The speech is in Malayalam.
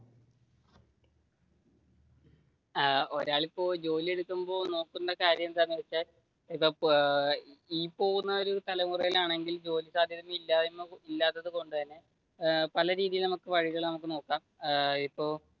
ഏർ ഒരാൾ ഇപ്പൊ ജോലിയെടുക്കുമ്പോൾ നോക്കേണ്ട കാര്യം എന്താണെന്ന് വെച്ചാൽ ഇപ്പൊ ഈ പോകുന്ന ഒരു തലമുറയിൽ ആണെങ്കിൽ ജോലി സാധ്യത ഇല്ലാത്തതു കൊണ്ട് തന്നെ ഇപ്പ